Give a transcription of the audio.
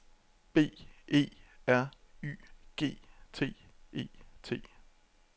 B E R Y G T E T